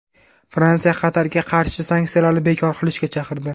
Fransiya Qatarga qarshi sanksiyalarni bekor qilishga chaqirdi.